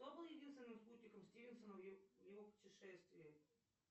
кто был единственным спутником стивенсона в его путешествии